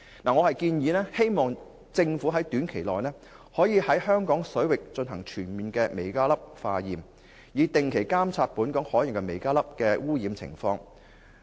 我建議政府短期內於香港水域全面化驗微膠粒，以定期監察本港海洋的微膠粒污染情況。